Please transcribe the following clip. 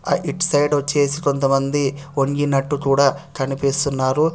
It side వచ్చేసి కొంతమంది వంగినట్టు కూడా కనిపిస్తున్నారు.